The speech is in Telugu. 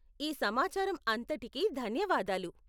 ఈ సమాచారం అంతటికీ ధన్యవాదాలు..